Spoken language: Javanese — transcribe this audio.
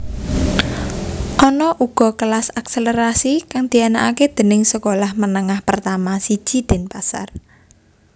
Ana uga kelas akselerasi kang dianakake déning sekolah menengah pertama siji Denpasar